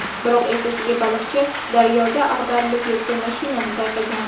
Biroq ertasiga baliqchi daryoda ag‘darilib yotgan mashinani payqagan.